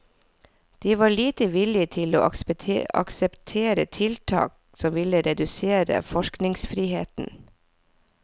De var lite villige til å akseptere tiltak som ville redusere forskningsfriheten.